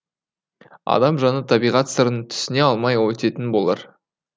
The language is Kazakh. адам жаны табиғат сырын түсіне алмай өтетін болар